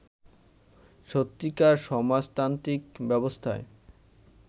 সত্যিকার সমাজতান্ত্রিক ব্যবস্থায়